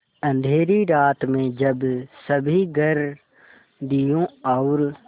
अँधेरी रात में जब सभी घर दियों और